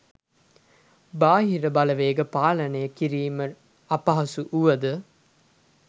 බාහිර බලවේග පාලනය කිරීම අපහසු වුවද